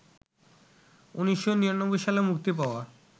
১৯৯৯ সালে মুক্তি পাওয়া